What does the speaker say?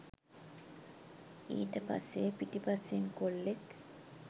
ඊට පස්සේ පිටිපස්සෙන් කොල්ලෙක්